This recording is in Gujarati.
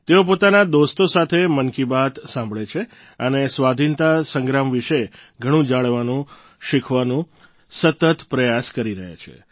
તેઓ પોતાના દોસ્તો સાથે મન કી બાત સાંભળે છે અને સ્વાધિનતા સંગ્રામ વિશે ઘણું જાણવાનો શીખવાનો સતત પ્રયાસ કરી રહ્યા છે